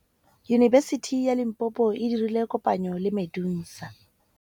Yunibesiti ya Limpopo e dirile kopanyô le MEDUNSA.